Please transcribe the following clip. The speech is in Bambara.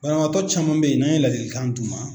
Banabaatɔ caman bɛ ye n'an ye ladilikan d'u ma